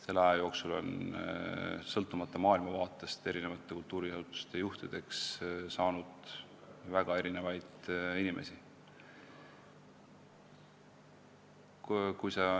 Selle aja jooksul on sõltumata maailmavaatest kultuuriasutuste juhtideks saanud väga erinevaid inimesi.